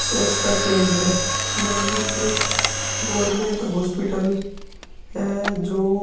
स्वस्ता केंदर यानि एक गवर्नमेंट हॉस्पिटल है जो --